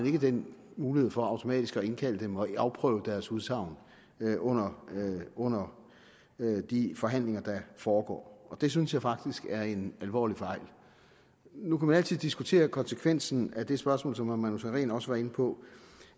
ikke den mulighed for automatisk at indkalde dem og afprøve deres udsagn under under de forhandlinger der foregår det synes jeg faktisk er en alvorlig fejl nu kan man altid diskutere konsekvensen af det spørgsmål som herre manu sareen også var inde på